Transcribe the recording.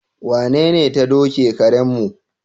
Wanene ta doki karenmu?